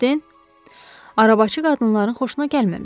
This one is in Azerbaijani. Arabaçı qadınların xoşuna gəlməmişdi.